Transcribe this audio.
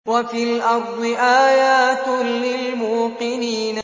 وَفِي الْأَرْضِ آيَاتٌ لِّلْمُوقِنِينَ